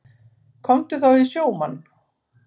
Komdu þá í sjómann.